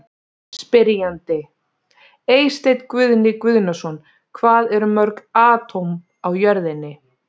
Spyrjandi: Eysteinn Guðni Guðnason Hvað eru mörg atóm á jörðinni?